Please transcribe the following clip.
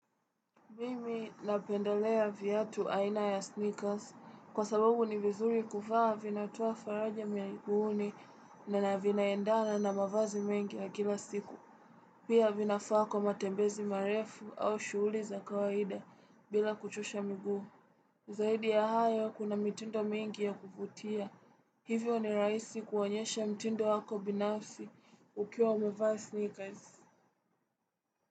Mimi napendelea viatu aina ya sneakers. Kwa sababu ni vizuri kuvaa, vinatoa faraja miguuni na vinaendana na mavazi mengi ya kila siku. Pia vinafaa kwa matembezi marefu au shughuli za kawaida bila kuchosha miguu. Zaidi ya hayo kuna mitindo mingi ya kuvutia. Hivyo ni rahisi kuonyesha mtindo wako binafsi ukiwa umevaa sneakers.